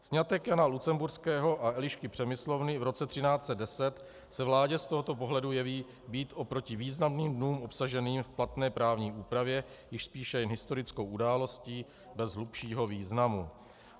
Sňatek Jana Lucemburského a Elišky Přemyslovny v roce 1310 se vládě z tohoto pohledu jeví být oproti významným dnům obsaženým v platné právní úpravě již spíše jen historickou událostí bez hlubšího významu.